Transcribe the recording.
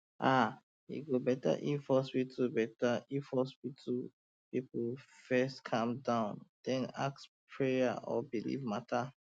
ah e go better if hospital better if hospital people first calm down then ask about prayer or belief matter